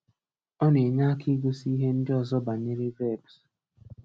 Ọ na-enye aka ịgosị ihe ndị ọzọ banyere verbs.